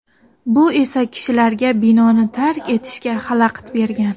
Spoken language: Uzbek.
Bu esa kishilarga binoni tark etishga xalaqit bergan.